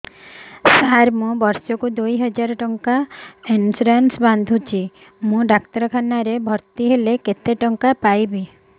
ସାର ମୁ ବର୍ଷ କୁ ଦୁଇ ହଜାର ଟଙ୍କା ଇନ୍ସୁରେନ୍ସ ବାନ୍ଧୁଛି ମୁ ଡାକ୍ତରଖାନା ରେ ଭର୍ତ୍ତିହେଲେ କେତେଟଙ୍କା ପାଇବି